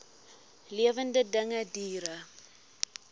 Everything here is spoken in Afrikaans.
lewende dinge diere